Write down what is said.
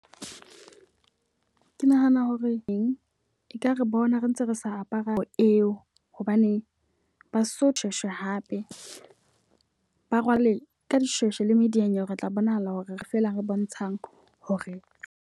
Ke nahana hore eng ekare bona re ntse re sa apara ho eo. Hobane baso shweshwe hape. Ba rwale ka dishweshwe le mediyanyewe re tla bonahala hore feela re bontshang hore.